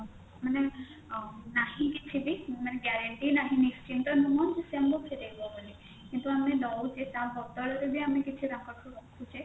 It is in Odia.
ମାନେ ନାହିଁ କିଛିବି ମାନେ guarantee ନାହିଁ ନିଶ୍ଚିନ୍ତ ନୁହଁ ସେ ଆମକୁ ଫେରେଇବ ବୋଲି କିନ୍ତୁ ଆମେ ଦଉଛେ ତା ବଦଳରେ ବି ତା ପାଖରୁ ରଖୁଛେ